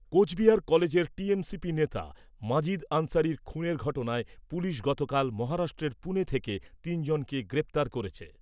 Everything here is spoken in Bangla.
কোচবিহার কলেজের টিএমসিপি নেতা মাজিদ আনসারির খুনের ঘটনায় পুলিশ গতকাল মহারাষ্ট্রের পুনে থেকে তিনজনকে গ্রেপ্তার করেছে।